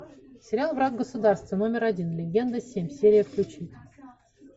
сериал враг государства номер один легенда семь серия включить